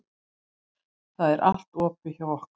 Það er allt opið hjá okkur.